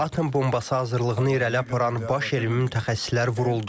Atom bombası hazırlığını irəli aparan baş elmi mütəxəssislər vuruldu.